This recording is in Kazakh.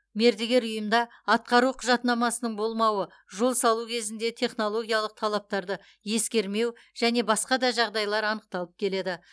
мердігер ұйымда атқару құжатнамасының болмауы жол салу кезінде технологиялық талаптарды ескермеу және басқа да жағдайлар анықталып келеді